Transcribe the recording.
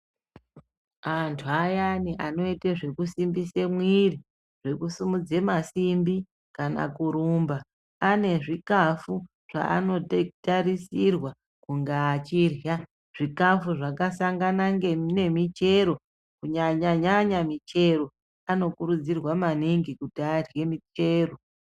Antu ayani anoite zvekusimbisa mwiri zvekusimudze masimbi kana kurumba, ane zvikafu zvaanotarisirwa kunga achirya zvikafu zvakasangana nemichero kunyanyanyanya michero. Anokurudzirwa maningi kuti arye michero.